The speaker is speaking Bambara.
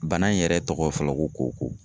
Bana in yɛrɛ tɔgɔ fɔlɔ ko koko